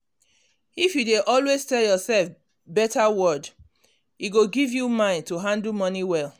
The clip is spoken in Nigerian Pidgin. If you dey always tell yourself better word e go give you mind to handle money well